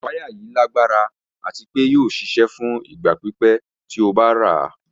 Wàyà yìí lágbara àti pé yóò ṣíṣẹ̀ fún ìgba pípẹ̀ tí ó bá rà.